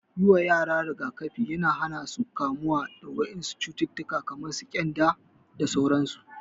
Yi wa yara rigakafi yana hana su kamuwa da wasu cututtuka kamar ƙyanda da sauransu.